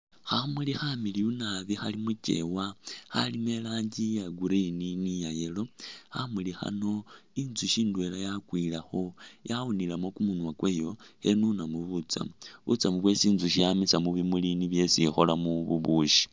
Khamuli khamiliyu nabi khali mu kyewa. Khalimo i'rangi iya Green ni iya yellow, khamuli khano inzusyi ndwela yakwilekho yawunilemu kumunwa kwayo khenunamu butsamu. Butsamu bwesi inzusyi yamisa mu bimuli nibwo esi ikholamu bubusyi.